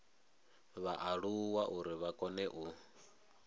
vhaaluwa uri vha kone u